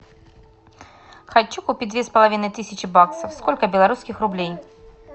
хочу купить две с половиной тысячи баксов сколько белорусских рублей